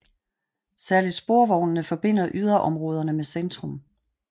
Særlig sporvognene forbinder yderområderne med centrum